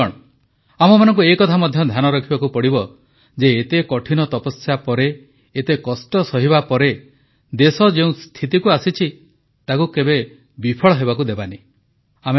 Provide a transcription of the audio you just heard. ବନ୍ଧୁଗଣ ଆମମାନଙ୍କୁ ଏକଥା ମଧ୍ୟ ଧ୍ୟାନ ରଖିବାକୁ ପଡ଼ିବ ଯେ ଏତେ କଠିନ ତପସ୍ୟା ପରେ ଏତେ କଷ୍ଟ ସହିବା ପରେ ଦେଶ ଯେଉଁ ସ୍ଥିତିକୁ ଆସିଛି ତାକୁ କେବେ ବିଫଳ ହେବାକୁ ଦେବାନାହିଁ